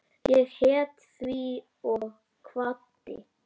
Ég hét því og kvaddi.